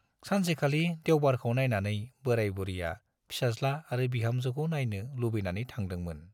सानसेखालि देउबारखौ नाइनानै बोराय बुरिया फिसाज्ला आरो बिहामजोखौ नाइनो लुबैनानै थांदोंमोन।